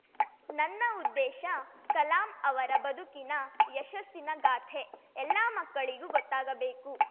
ನನ್ನ ಉದ್ದೇಶ ಕಲಾಂ ಅವರ ಬದುಕಿನ ಯಶಸ್ಸಿನಗಾಥೆ ಎಲ್ಲಾ ಮಕ್ಕಳಿಗೂ ಗೊತ್ತಾಗಬೇಕು